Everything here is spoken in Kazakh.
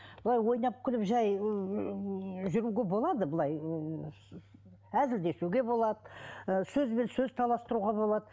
былай ойнап күліп жай жүруге болады былай әзілдесуіге де болады ы сөзбен сөз таластыруға болады